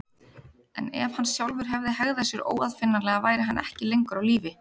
En ef hann sjálfur hefði hegðað sér óaðfinnanlega væri hann ekki lengur á lífi.